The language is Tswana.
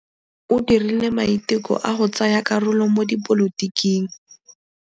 O dirile maitekô a go tsaya karolo mo dipolotiking.